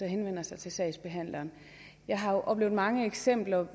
henvender sig til sagsbehandleren jeg har oplevet mange eksempler